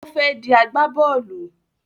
Ó fẹ́ di agbábọ́lù